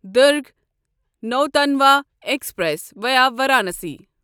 Durg Nautanwa express via Varanasi